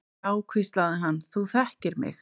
Já, hvíslaði hann, þú þekkir mig.